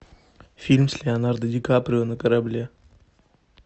фильм с леонардо ди каприо на корабле